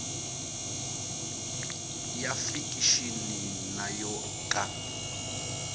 ya fikixini na yo ka